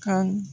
Kan